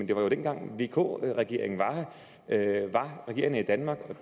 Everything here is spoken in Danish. det var dengang vk regeringen var regerende i danmark